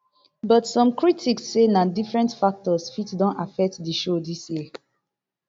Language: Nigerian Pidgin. but some critics say na different factors fit don affect di show dis year